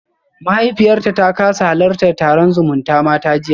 Mahaifiyarta ta kasa halartar taron zumutamata jiya